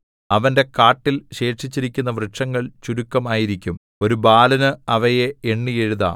അവന്റെ കാട്ടിൽ ശേഷിച്ചിരിക്കുന്ന വൃക്ഷങ്ങൾ ചുരുക്കം ആയിരിക്കും ഒരു ബാലന് അവയെ എണ്ണി എഴുതാം